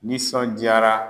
Nisɔndiyara